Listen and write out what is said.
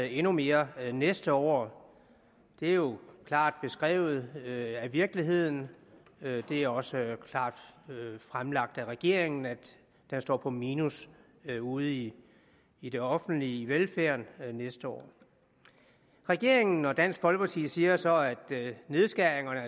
endnu mere næste år det er jo klart beskrevet af virkeligheden og det er også klart fremlagt af regeringen at den står på minus ude i i det offentlige velfærden næste år regeringen og dansk folkeparti siger så at nedskæringerne